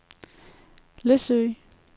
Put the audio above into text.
Læsø